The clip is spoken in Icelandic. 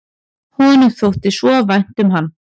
Honum þótti svo vænt um hann.